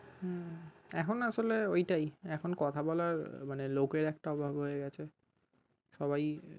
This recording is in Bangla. হম এখন না আসলে ওই টাই এখন কথা বলার মানে লোকের একটা অভাব হয়ে গেছে সবাই